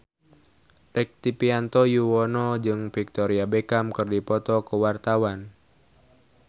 Rektivianto Yoewono jeung Victoria Beckham keur dipoto ku wartawan